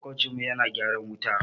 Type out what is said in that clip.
Maƙocinmu yana gyaran wuta